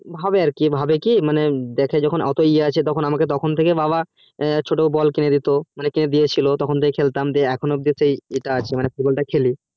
ভাবে আর কি ভাবে কি মানে দেখে যখন ওতো ই আছে তখন আমাকে তখন থেকে বাবা ছোটো বল কিনে দিতো মানে কিনে দিয়েছিলো তখন থেকে খেলতাম দিয়ে এখনো অব্দি সেই ই টা আছে মানে football টা খেলি